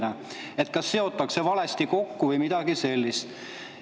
Näiteks seotakse valesti kokku või midagi sellist.